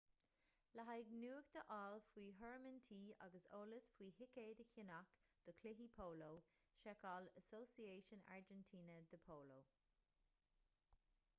le haghaidh nuacht a fháil faoi thurnaimintí agus eolas faoi thicéid a cheannach do chluichí póló seiceáil asociacion argentina de polo